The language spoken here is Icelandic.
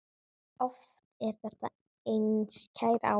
Oft er þetta einskær áhugi.